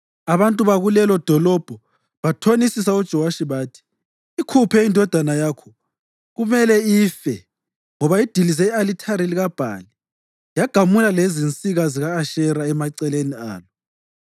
Abantu bakulelodolobho bathonisa uJowashi bathi, “Ikhuphe indodana yakho. Kumele ife, ngoba idilize i-alithari likaBhali yagamula lezinsika zika-Ashera emaceleni alo.”